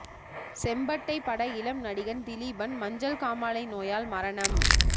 செம்பட்டை பட இளம் நடிகன் திலீபன் மஞ்சள் காமாலை நோயால் மரணம்